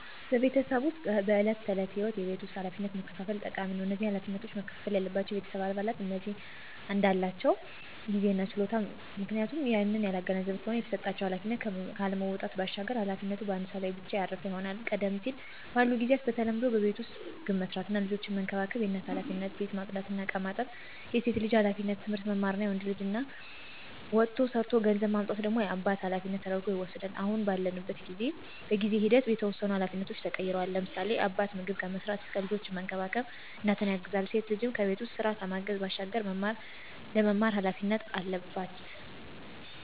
በቤተሰብ ዉስጥ በዕለት ተዕለት ህይወት የቤት ውስጥ ኃላፊነቶችን መከፋፈል ጠቃሚ ነው። እነዚህ ኃላፊነቶች መከፍፈል ያለባቸው የቤተሰብ አባላት እንዳላቸው ጊዜ እና ችሎታ ነው፤ ምክንያቱም ይህንን ያላገናዘበ ከሆነ የተሰጣቸውን ኃላፊነት ካለመወጣት ባሻገር ኃላፊነቱ በአንድ ወይም ሰው ላይ ብቻ ያረፈ ይሆናል። ቀደም ባሉት ጊዚያት በተለምዶ በቤት ዉስጥ ምግብ መስራት እና ልጆችን መንከባከብ የእናት ኃላፊነት፣ ቤት ማፅዳት እና እቃዎችን ማጠብ የሴት ልጅ ኃላፊነት፣ ትምህርት መማር የወንድ ልጅ እና ወጥቶ ሠርቶ ገንዘብ ማምጣት ደግሞ የአባት ኃላፊነት ተደርጐ ይወስዳል። አሁን ባለንበት በጊዜ ሂደት የተወሰኑ ኃላፊነቶች ተቀይረዋል፤ ለምሳሌ፦ አባት ምግብ ከመስራት እስከ ልጆችን መንከባከብ እናትን ያግዛል፣ ሴት ልጅም በቤት ውስጥ ስራ ከማገዝ ባሻገር ለመማር ኃላፊነት አለባት።